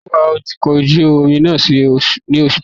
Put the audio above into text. Taló wa ọkọ̀ ojú-omi náà ní oṣù tó kọjá?